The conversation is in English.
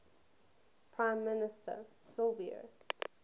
prime minister silvio